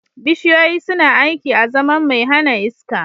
Bishiyoyi suna aiki azaman mai hana iska